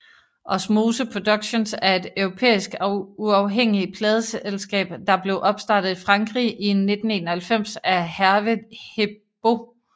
Osmose Productions er et europæisk uafhængig pladeselskab der blev opstartet i Frankrig i 1991 af Hervé Herbaut